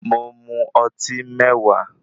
Mo mọ ọtí mẹ̀wá.